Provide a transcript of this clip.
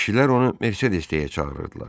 Kişilər onu Mersedes deyə çağırırdılar.